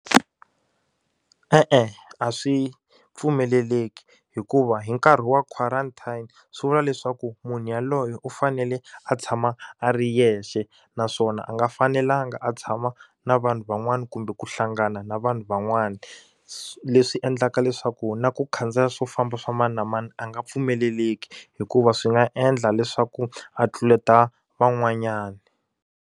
E-e a swi pfumeleleki hikuva hi nkarhi wa quarantine swi vula leswaku munhu yaloye u fanele a tshama a ri yexe naswona a nga fanelanga a tshama na vanhu van'wani kumbe ku hlangana na vanhu van'wana leswi endlaka leswaku na ku khandziya swo famba swa mani na mani a nga pfumeleleki hikuva swi nga endla leswaku a tluleta van'wanyana.